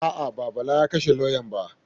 A'a, ba Bala ya kashe lauyan ba.